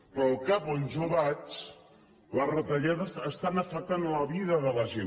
però al cap on jo vaig les retallades estan afectant la vida de la gent